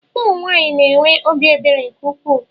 Ụmụnwaanyị na-enwe obi ebere nke ukwuu